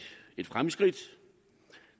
fremskridt